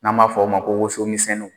N'an m'a fɔ o ma ko woso misɛnninw